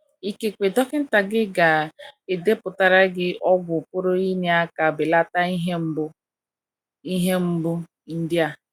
Ikekwe dọkịta gị ga edepụtara gị ọgwụ pụrụ inye aka belata ihe mgbu ihe mgbu ndị a.